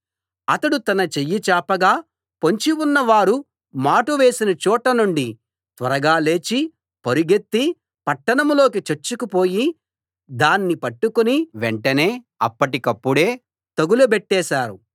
అతడు తన చెయ్యి చాపగా పొంచి ఉన్నవారు మాటు వేసిన చోటనుండి త్వరగా లేచి పరుగెత్తి పట్టణంలోకి చొచ్చుకుపోయి దాన్ని పట్టుకుని వెంటనే అప్పటికప్పుడే తగులబెట్టేశారు